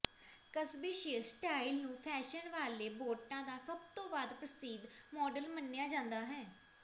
ਕਸਬੇਸ਼ਯ style ਨੂੰ fashion ਵਾਲੇ ਬੋਰਟਾਂ ਦਾ ਸਭ ਤੋਂ ਵੱਧ ਪ੍ਰਸਿੱਧ ਮਾਡਲ ਮੰਨਿਆ ਜਾਂਦਾ ਹੈ